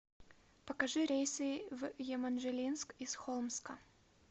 покажи рейсы в еманжелинск из холмска